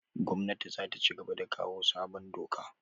Gwamnatin zata cigaba da kawo sabon doka